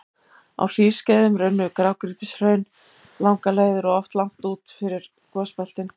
Á hlýskeiðum runnu grágrýtishraun langar leiðir og oft langt út fyrir gosbeltin.